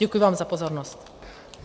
Děkuji vám za pozornost.